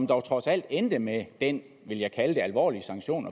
dog trods alt endte med den vil jeg kalde det alvorlige sanktion